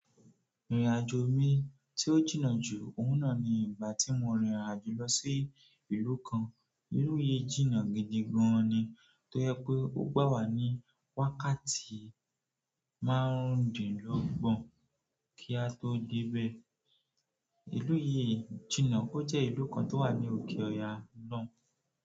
Ìrìnàjò mi tí ó jìnnà jù, òun náà ni ìgbà tí mo rìn ìrìnàjò lọ sí ìlú kan. Ìlú yìí jìnnà gidi gan ni tó jẹ pé ó gbà wà ní wákàtí márùndínlọ́gbọ̀n kí a tó débé. Ìlú yìí jìnnà, ó jẹ́ ìlú kan tó wà ní òkè Ọ̀ya loun.